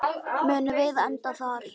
Munum við enda þar?